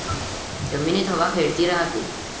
जमिनीत हवा खेळती राहते.